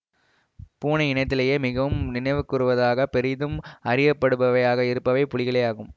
பூனை இனத்திலேயே மிகவும் நினைவுகூறத்தக்க பெரிதும் அறியப்படுபவையாக இருப்பவை புலிகளே ஆகும்